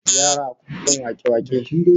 Yara akwai son wake-wake